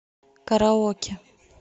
караоке